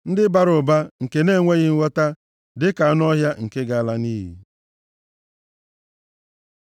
Ndị bara ụba nke na-enweghị nghọta dịka anụ ọhịa nke ga-ala nʼiyi.